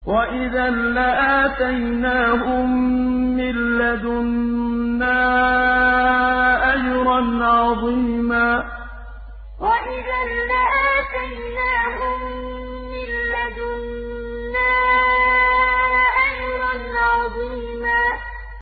وَإِذًا لَّآتَيْنَاهُم مِّن لَّدُنَّا أَجْرًا عَظِيمًا وَإِذًا لَّآتَيْنَاهُم مِّن لَّدُنَّا أَجْرًا عَظِيمًا